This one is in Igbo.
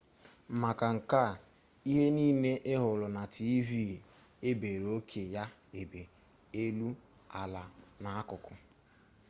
maka nke a ihe niile ihuru na tv ebere oke ya ebe elu ala na akuku